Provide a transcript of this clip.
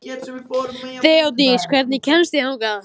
Þeódís, hvernig kemst ég þangað?